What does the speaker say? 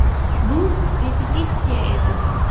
Bu ‘repetitsiya’ edi.